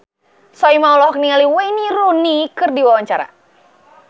Soimah olohok ningali Wayne Rooney keur diwawancara